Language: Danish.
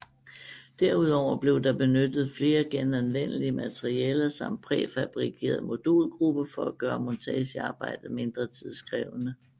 Derudover blev der benyttet flere genanvendelige materialer samt præfabrikerede modulgrupper for at gøre montagearbejdet mindre tidskrævende